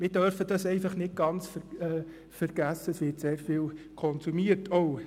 Wir dürfen einfach nicht ganz vergessen, dass auch sehr viel konsumiert wird.